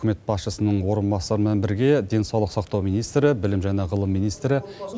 үкімет басшысының орынбасарымен бірге денсаулық сақтау министрі білім және ғылым министрі